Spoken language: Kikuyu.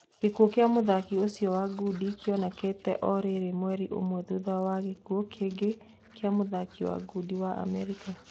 Gĩkuo kia mũthaki ũcio wa ngundi kĩonekete o rĩrĩ mweri ũmwe thutha gĩkuo kingi kĩa mũthaki wa ngundi wa Amerika.